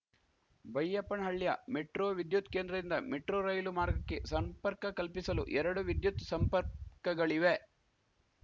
ಬೈಯಪ್ಪನಹಳ್ಳಿಯ metro ವಿದ್ಯುತ್‌ ಕೇಂದ್ರದಿಂದ metro ರೈಲು ಮಾರ್ಗಕ್ಕೆ ಸಂಪರ್ಕ ಕಲ್ಪಿಸಲು ಎರಡು ವಿದ್ಯುತ್‌ ಸಂಪರ್ಕಗಳಿವೆ